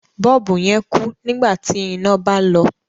Bọ́ọ̀bù yẹn kú nígbà tí iná bá lọ.